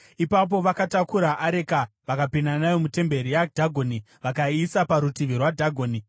Ipapo vakatakura areka vakapinda nayo mutemberi yaDhagoni vakaiisa parutivi rwaDhagoni.